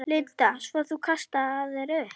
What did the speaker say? Linda: Svo þú kastaðir upp?